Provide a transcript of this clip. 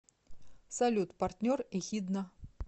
салют партнер эхидна